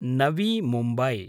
Navi Mumbai